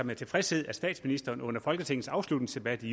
med tilfredshed at statsministeren under folketingets afslutningsdebat i